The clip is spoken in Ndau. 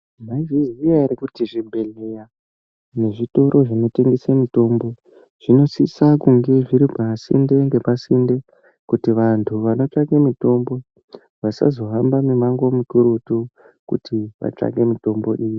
Maizviziya ere kuti zvibhehleya nezvitiro zvinotengese mitombo zvinosisa kune zviri pasinde ngepasinde kuti vantu vanotsvake mitombo vasazohamba mimango mikurutu kuti vatsvake mitombo iyi.